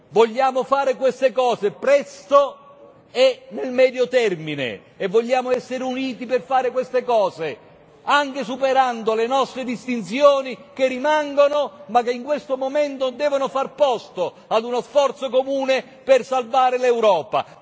Vogliamo fare queste cose, presto e nel medio termine e vogliamo essere uniti per fare queste cose, anche superando le nostre distinzioni che rimangono, ma che in questo momento devono far posto a uno sforzo comune per salvare l'Europa.